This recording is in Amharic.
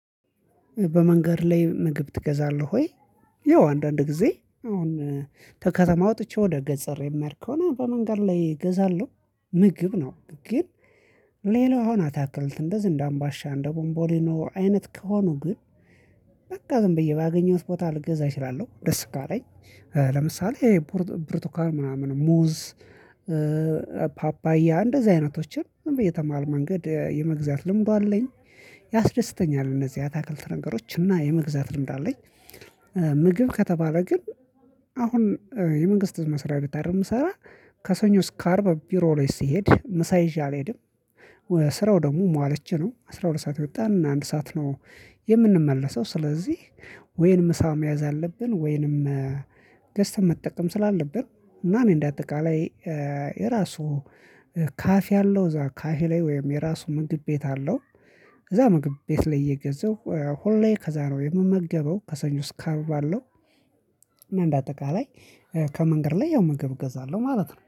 በመንገድ ላይ ምግብ ትገዛለህ ወይ? ያው አንዳንድ ጊዜ አሁን ከከተማ ወጥቼ ወደ ገጸሬ የምሄድ ከሆነ በመንገድ ላይ እገዛለሁ ምግብ ነው ግን ሌላው አሁን አታክልት እንደ ዘንድ አምባሻ እንደ ቦምቦሊኖ አይነት ከሆኑ ግን በቃ ዝም ብዬ ባገኘሁት ቦታ ልግዛ እችላለሁ ደስ ካለኝ ለምሳሌ ብርቱካን ምናምን ሙዝ ፓፓያ እንደዚህ አይነቶችን በየትም መሃል መንገድ የመግዛት ልምዱ አለኝ ያስደስተኛል እነዚህ አትክልት ነገሮች እና የመግዛት ልምድ አለኝ ምግብ ከተባለ ግን አሁን የመንግስት መስሪያ ቤት አይደል የምሰራ ከሰኞ እስከ አርብ ቢሮ ላይ ስሄድ ምሳ ይዤ አልሄድም ስራው ደግሞ መዋለች ነው አስራ ሁለት ሰዓት የወጣን አንድ ሰዓት ነው የምንመለሰው ስለዚህ ወይንም ምሳ መያዝ አለብን ወይንም ገዝተን መጠቀም ስላለብን እና እኔ እንደ አጠቃላይ የራሱ ካፌ አለው እዛ ካፌ ላይ ወይም የራሱ ምግብ ቤት አለው እዛ ምግብ ቤት ላይ እየገዛሁ ሁሌ ከዛ ነው የምመገበው ከሰኞ እስከ አርብ ባለው እና እንደ አጠቃላይ ከመንገድ ላይ ያው ምግብ እገዛለሁ ማለት ነው